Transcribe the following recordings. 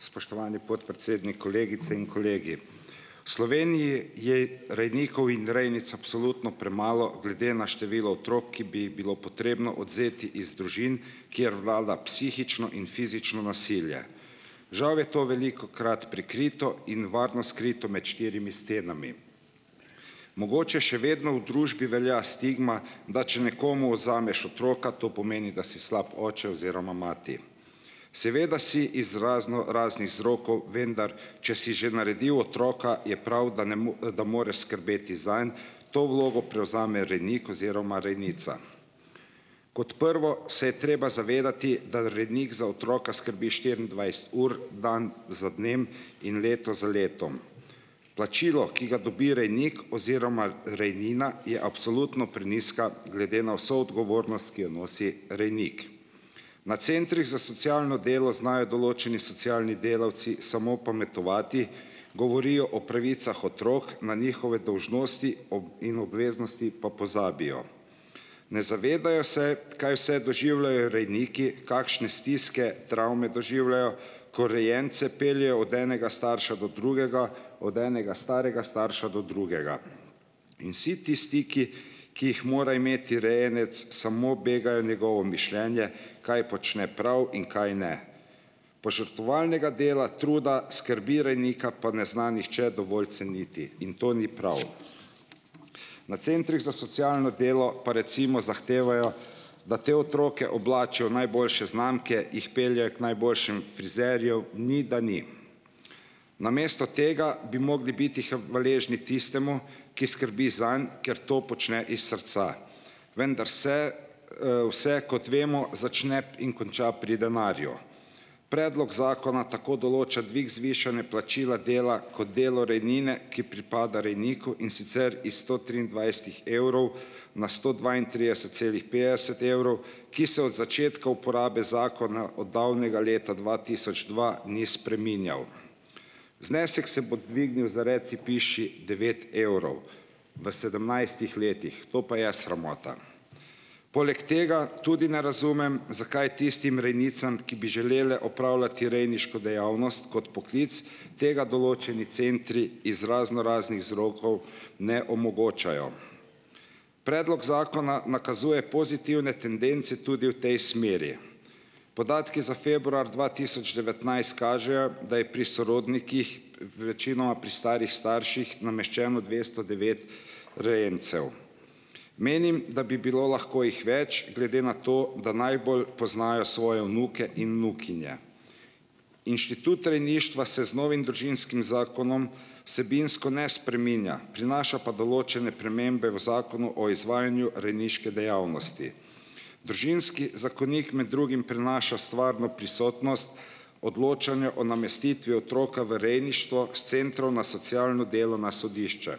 Spoštovani podpredsednik! Kolegice in kolegi! V Sloveniji je rejnikov in rejnic absolutno premalo glede na število otrok, ki bi jih bilo potrebno odvzeti iz družin, kjer vlada psihično in fizično nasilje. Žal je to velikokrat prikrito in varno skrito med štirimi stenami. Mogoče še vedno v družbi velja stigma, da če nekomu odvzameš otroka to pomeni, da si slab oče oziroma mati. Seveda si iz raznoraznih vzrokov, vendar če si že naredil otroka, je prav, da ne da moreš skrbeti zanj. To vlogo prevzame rejnik oziroma rejnica. Kot prvo se je treba zavedati, da rejnik za otroka skrbi štiriindvajset ur, dan za dnem in leto za letom. Plačilo, ki ga dobi rejnik oziroma rejnina, je absolutno prenizka glede na vso odgovornost, ki jo nosi rejnik. Na centrih za socialno delo znajo določeni socialni delavci samo pametovati, govorijo o pravicah otrok, na njihove dolžnosti in obveznosti pa pozabijo. Ne zavedajo se, kaj vse doživljajo rejniki, kakšne stiske travme doživljajo, ko rejence peljejo od enega starša do drugega, od enega starega starša do drugega. In vsi tisti, ki ki jih mora imeti rejenec, samo begajo njegovo mišljenje, kaj počne prav in kaj ne. Požrtvovalnega dela, truda, skrbi rejnika pa ne zna nihče dovolj ceniti. In to ni prav. Na centrih za socialno delo pa, recimo, zahtevajo, da te otroke oblačijo v najboljše znamke, jih peljejo k najboljšem frizerju, ni da ni. Namesto tega bi mogli biti hvaležni tistemu, ki skrbi zanj, ker to počne iz srca. Vendar se, vse, kot vemo, začne in konča pri denarju. Predlog zakona tako določa dvig zvišane plačila dela kot delo rejnine, ki pripada rejniku, in sicer iz sto triindvajsetih evrov na sto dvaintrideset celih petdeset evrov, ki se od začetka uporabe zakona od davnega leta dva tisoč dva ni spreminjal. Znesek se bo dvignil za reci piši devet evrov v sedemnajstih letih. To pa je sramota. Poleg tega tudi ne razumem, zakaj tistim rejnicam, ki bi želele opravljati rejniško dejavnost kot poklic, tega določeni centri iz raznoraznih vzrokov ne omogočajo. Predlog zakona nakazuje pozitivne tendence tudi v tej smeri. Podatki za februar dva tisoč devetnajst kažejo, da je pri sorodnikih, v večinoma pri starih starših, nameščeno dvesto devet rejencev. Menim, da bi bilo lahko jih več, glede na to, da najbolj poznajo svoje vnuke in vnukinje. Inštitut rejništva se z novim Družinskim zakonom vsebinsko ne spreminja, prinaša pa določene spremembe v Zakonu o izvajanju rejniške dejavnosti. Družinski zakonik med drugim prinaša stvarno prisotnost, odločanje o namestitvi otroka v rejništvo s centrov na socialno delo na sodišče.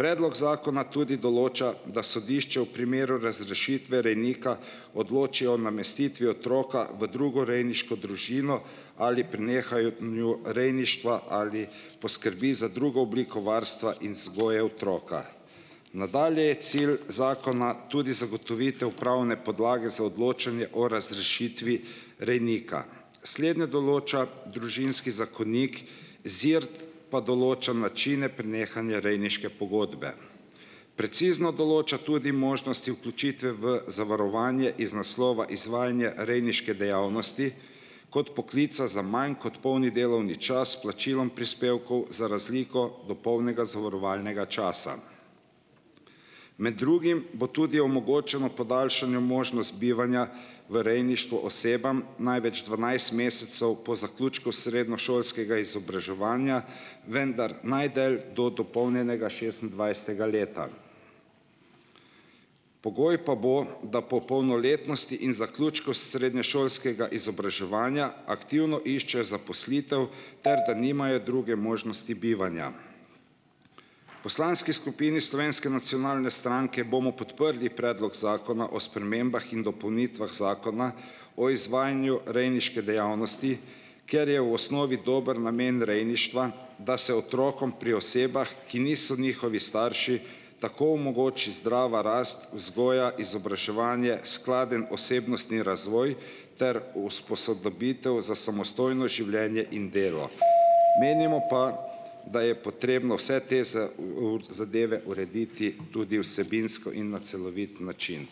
Predlog zakona tudi določa, da sodišče v primeru razrešitve rejnika odloči o namestitvi otroka v drugo rejniško družino ali prenehanju rejništva ali poskrbi za drugo obliko varstva in vzgoje otroka. Nadalje je cilj zakona tudi zagotovitev pravne podlage za odločanje o razrešitvi rejnika. Slednje določa Družinski zakonik, ZIRT pa določa načine prenehanja rejniške pogodbe. Precizno določa tudi možnosti vključitve v zavarovanje iz naslova izvajanje rejniške dejavnosti kot poklica za manj kot polni delovni čas s plačilom prispevkov, za razliko do polnega zavarovalnega časa. Med drugim bo tudi omogočeno podaljšanje možnosti bivanja v rejništvu osebam, največ dvanajst mesecev po zaključku srednješolskega izobraževanja, vendar najdlje do dopolnjenega šestindvajsetega leta. Pogoj pa bo, da po polnoletnosti in zaključku srednješolskega izobraževanja aktivno iščejo zaposlitev ter da nimajo druge možnosti bivanja. Poslanski skupini Slovenske nacionalne stranke bomo podprli Predlog zakona o spremembah in dopolnitvah Zakona o izvajanju rejniške dejavnosti, ker je v osnovi dober namen rejništva, da se otrokom pri osebah, ki niso njihovi starši, tako omogoči zdrava rast, vzgoja, izobraževanje, skladen osebnostni razvoj ter uspososobitev za samostojno življenje in delo. Menimo pa, da je potrebno vse te zadeve urediti tudi vsebinsko in na celovit način.